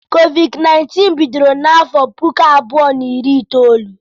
COVID-19 bidoro na afọ puku abụọ na iri na itoolu.